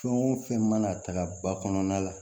Fɛn o fɛn mana tagama ba kɔnɔna la